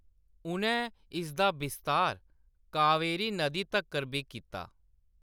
उ'नै इसदा विस्तार कावेरी नदी तक्कर बी कीता।